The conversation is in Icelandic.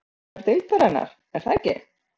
Besti leikmaður deildarinnar, er það ekki?